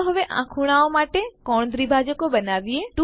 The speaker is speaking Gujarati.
ચાલો હવે આ ખુણાઓ માટે કોણ દ્વિભાજકો બનાવીએ